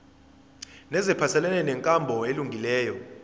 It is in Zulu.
neziphathelene nenkambo elungileyo